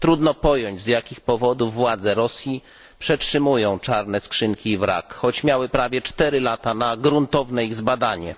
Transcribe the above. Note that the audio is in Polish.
Trudno pojąć, z jakich powodów władze Rosji przetrzymują czarne skrzynki i wrak, choć miały prawie cztery lata na gruntowne ich zbadanie.